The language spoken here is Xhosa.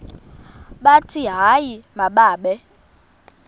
bathi hayi mababe